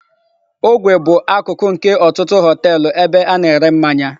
Ogwe bụ akụkụ nke ọtụtụ họteelụ ebe a na-ere mmanya.